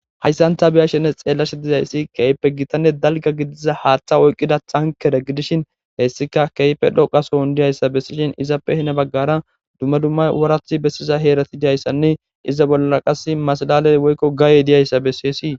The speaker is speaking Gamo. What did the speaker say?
Hayssanta biya shene xeellashe dizayssi keyppe gitanne dalga gidiza haaththa oyqida xankere gidishin hessika keype dhoqasohon diyayssa bessishin izappe hina baggara dumma dummay wurathi bessiza heerati jayssanne iza bolla qas maslaley woykko gaayey diyayssa bessisii.